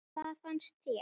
Hvað fannst þér?